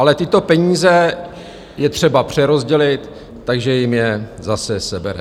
Ale tyto peníze je třeba přerozdělit, takže jim je zase sebere.